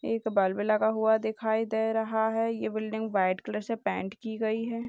एक बल्ब लगा हुआ दिखाई दे रहा है यह बिल्डिंग वाइट कलर से पेंट की गई है।